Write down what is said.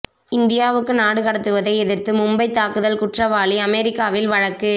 இந்தியாவுக்கு நாடு கடத்துவதை எதிா்த்து மும்பை தாக்குதல் குற்றவாளி அமெரிக்காவில் வழக்கு